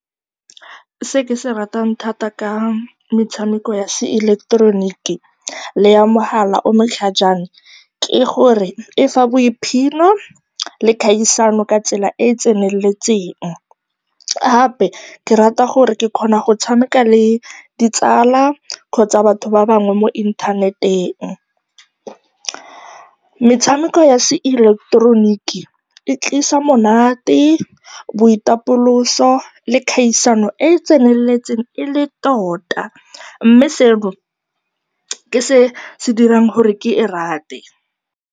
Se ke se ratang thata ka metshameko ya seileketeroniki le ya mohala o o matlhajana ke gore e fa boiphitlhelo le kgaisano ka tsela e e tseneletseng. Gape ke rata gore ke kgona go tshameka le ditsala kgotsa batho ba bangwe mo inthaneteng. Metshameko ya seileketeroniki e tlisa monate, boitapoloso le kgaisano e e tseneletseng e le tota mme seo ke se se dirang gore ke e rate.